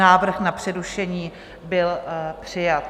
Návrh na přerušení byl přijat.